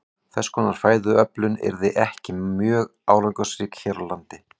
Þess konar fæðuöflun yrði ekki mjög árangursrík hér á landi.